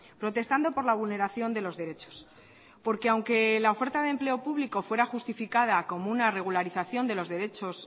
protestando por la vulneración de los derechos porque aunque la oferta de empleo público fuera justificada como una regularización de los derechos